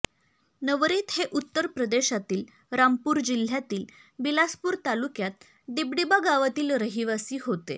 नवरित हे उत्तर प्रदेशातील रामपूर जिल्ह्यातील बिलासपूर तालुक्यात डिबडिबा गावातील रहिवासी होते